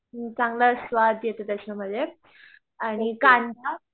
चांगला स्वाद येतो त्याच्यामध्ये आणि कांदा